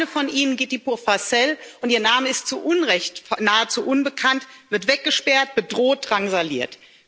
Eine von ihnen, Giti Purfasel und ihr Name ist zu Unrecht nahezu unbekannt wird weggesperrt, bedroht, drangsaliert.